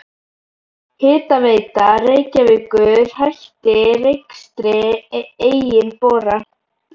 Hitaveita Reykjavíkur hætti rekstri eigin bora.